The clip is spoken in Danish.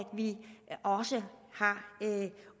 vi også har